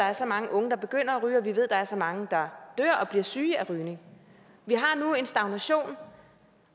er så mange unge der begynder at ryge og vi ved at der er så mange der dør og bliver syge af rygning vi har nu en stagnation